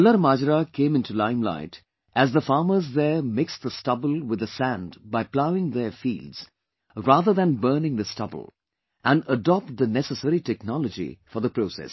KallarMajra came into lime light as the farmers there mix the stubble with the sand by ploughing their fields rather than burning the stubble and adopt the necessary technology for the process